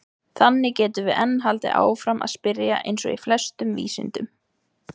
Þannig getum við enn haldið áfram að spyrja eins og í flestum vísindum!